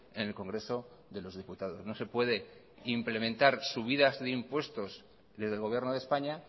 en el congreso de los diputados no se puede implementar subidas de impuestos desde el gobierno de españa